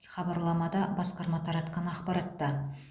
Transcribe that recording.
хабарламада басқарма таратқан ақпаратта